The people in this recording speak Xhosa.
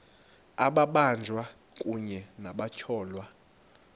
amabanjwa kunye nabatyholwa